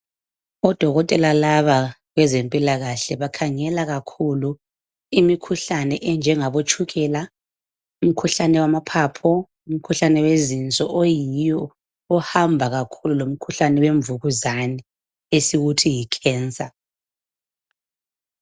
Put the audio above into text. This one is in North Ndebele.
Odokotela laba bezempilakahle bakhangela kakhulu imikhuhlane enjengabo tshukela, umkhuhlane wamaphapho, umkhuhlane wezinso oyiwo ohamba kakhulu lomkhuhlane wemvukuzane esiwuthi yi"cancer".